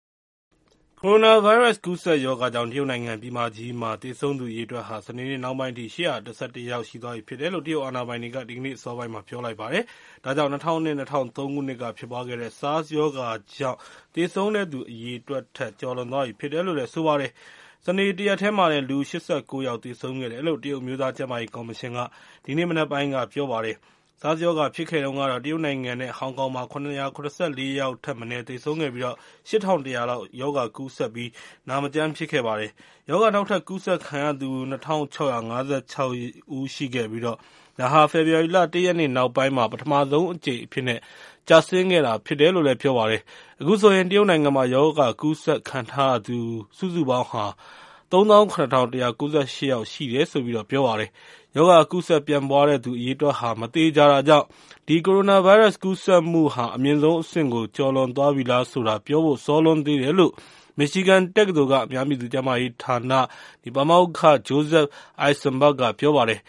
ကိုရိုနာဗိုင်းရပ်စ် ကူးစက်ရောဂါကြောင့် တရုတ်နိုင်ငံ ပြည်မကြီးမှာ သေဆုံးသူ အရေအတွက်ဟာ စနေနေ့နှောင်းပိုင်းအထိ ၈၁၁ ယောက် ရှိသွားပြီဖြစ်တယ်လို့ တရုတ်အာဏာပိုင်တွေက ဒီကနေ့အစောပိုင်းက ပြောလိုက်ပါတယ်။ ဒါကြောင့် ၂၀၀၂-၀၃ ခုနှစ်က ဖြစ်ပွားခဲ့တဲ့ SARS ရောဂါကြောင့် သေဆုံးတဲ့သူ အရေအတွက်ထက် ကျော်လွန်သွားပြီဖြစ်တယ်လို့ ဆိုပါတယ်။ စနေနေ့ တရက်တည်းမှာတင် လူ ၈၉ ယောက် သေဆုံးခဲ့တယ်လို့ တရုတ် အမျိုးသားကျန်းမာရေးကော်မရှင်က ဒီနေ့မနက်ပိုင်းက ပြောပါတယ်။ SARS ရောဂါ ဖြစ်ခဲ့တုန်းကတော့ တရုတ်နိုင်ငံနဲ့ ဟောင်ကောင်မှာ ၇၇၄ ယောက်ထက်မနည်း သေဆုံးခဲ့ပြီး ၈၁၀၀ လောက် ရောဂါကူးစက်ပြီး နာမကျန်းဖြစ်ခဲ့ပါတယ်။ ရောဂါ နောက်ထပ်ကူးစက်ခံရသူ ၂၆၅၆ ဦးရှိခဲ့ပြီး ဒါဟာ ဖေဖော်ဝါရီလ ၁ ရက်နေ့ နောက်ပိုင်းမှာ ပထမဆုံးအကြိမ်အဖြစ်နဲ့ ကျဆင်းခဲ့တာဖြစ်ပါတယ်။ အခုဆိုရင် တရုတ်နိုင်ငံမှာ ရောဂါကူးစက်ခံထားရသူ စုစုပေါင်း ၃၇၁၉၈ ယောက်ရှိတယ်လို့ ပြောပါတယ်။ ရောဂါကူးစက်ပြန့်ပွားတဲ့သူ အရေအတွက်က မသေချာတာကြောင့် ဒီ ကိုရိုနာဗိုင်းရပ်စ် ကူးစက်မှုဟာ အမြင့်ဆုံးအဆင့်ကို ကျော်လွန်သွားပြီလားဆိုတာ ပြောဖို့ စောလွန်းသေးတယ်လို့ မစ်ချီဂန်တက္ကသိုလ်က အများပြည်သူကျန်းမာရေးဌာန ပါမောက္ခ Joseph Eisenberg က ပြောပါတယ်